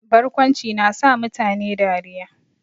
Barkwanci na sa mutane dariya